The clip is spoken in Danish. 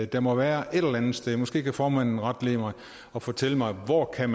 der må være et eller andet sted måske kan formanden retlede mig og fortælle mig hvor man